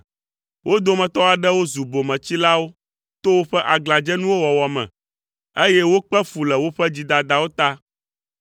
Wo dometɔ aɖewo zu bometsilawo to woƒe aglãdzenuwo wɔwɔ me, eye wokpe fu le woƒe dzidadawo ta.